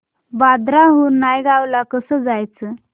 बांद्रा हून नायगाव ला कसं जायचं